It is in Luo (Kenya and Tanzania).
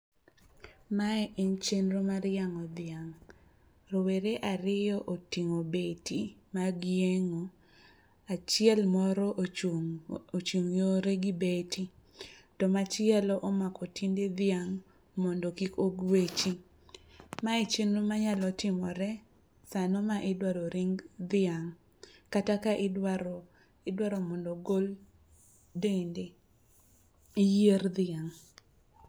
Mae en chenro mar yangó dhiang'. Rowere ariyo otingó beti mag yiengó. Achiel moro ochung' ochung' yore gi beti. To machielo omako tiende dhiang' mondo kik ogwechi. Mae chenro manyalo timore sa no ma idwaro ring dhiang' kata ka idwaro idwaro mondo ogol dende, yier dhiang'.